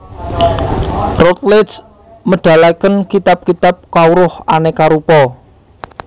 Routledge medalaken kitab kitab kawruh aneka rupa